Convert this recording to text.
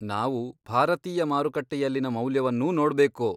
ನಾವು ಭಾರತೀಯ ಮಾರುಕಟ್ಟೆಯಲ್ಲಿನ ಮೌಲ್ಯವನ್ನೂ ನೋಡ್ಬೇಕು.